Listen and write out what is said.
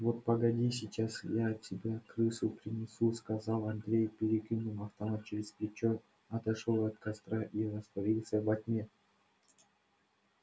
вот погоди сейчас я тебя крысу принесу сказал андрей перекинул автомат через плечо отошёл от костра и растворился во тьме